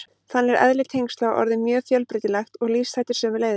Þannig er eðli tengsla orðið mjög fjölbreytilegt og lífshættir sömuleiðis.